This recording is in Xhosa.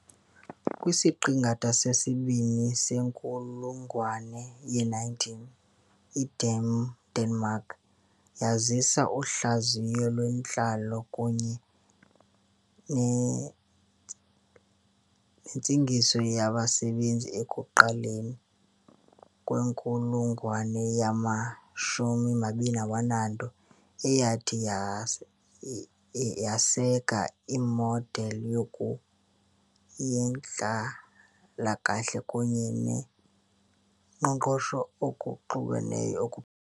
kwisiqingatha sesibini senkulungwane ye-19, iDenmark yazisa uhlaziyo lwentlalo kunye nentengiso yabasebenzi ekuqaleni kwenkulungwane yama-20, eyathi yaseka imodeli yoku yentlalakahle kunye noqoqosho okuxubeneyo.